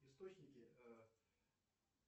источники э